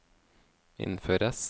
innføres